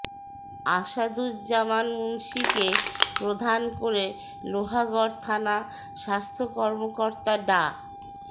আসাদুজ্জামান মুন্সীকে প্রধান করে লোহাগড়া থানা স্বাস্থ্য কর্মকর্তা ডা